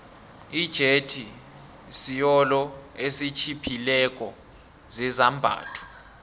ijethi siolo esitjhiphileko sezambatho